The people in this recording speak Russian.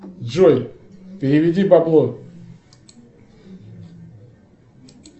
джой переведи бабло